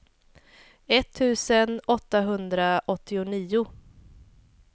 etttusen åttahundraåttionio